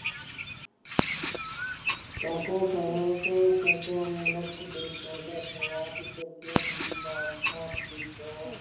ਜਾਗੋ ਸਾਹਿਤ ਚੰਗਾ ਮਨੁੱਖ ਤੇ ਚੰਗਾ ਸੁਭਾਓ ਸੱਜਣ ਦੀ ਲਾਲਸਾ ਦੇ ਵਿਚੋਂ